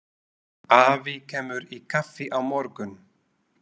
Afi kemur í kaffi á morgun.